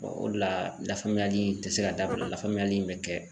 o de la lafaamuyali in te se ka dabila lafaamuyali in be kɛ